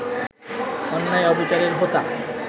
অন্যায়-অবিচারের হোতা